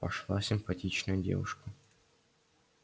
пошла симпатичная девушка